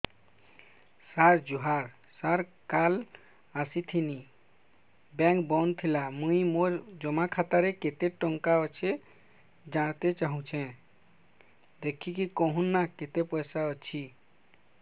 ସାର ଜୁହାର ସାର କାଲ ଆସିଥିନି ବେଙ୍କ ବନ୍ଦ ଥିଲା ମୁଇଁ ମୋର ଜମା ଖାତାରେ କେତେ ଟଙ୍କା ଅଛି ଜାଣତେ ଚାହୁଁଛେ ଦେଖିକି କହୁନ ନା କେତ ପଇସା ଅଛି